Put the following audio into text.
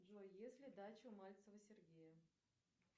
джой есть ли дача у мальцева сергея